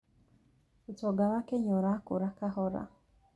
ũtonga wa Kenya ũrakũra kahora